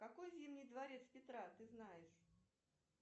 какие зимний дворец петра ты знаешь